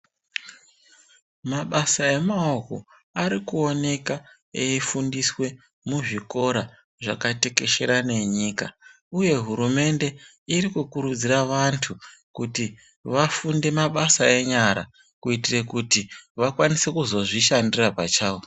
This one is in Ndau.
Mabasa emaoko arikuoneka eifundiswe muzvikora zvakatekeshera nenyika uye hurumende iri kukurudzire vantu kuti vafunde mabasa enyara kuitire kuti vakwanise kuzozvishandira pachawo.